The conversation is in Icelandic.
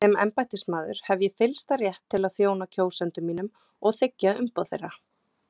Sem embættismaður hef ég fyllsta rétt til að þjóna kjósendum mínum og þiggja umboð þeirra.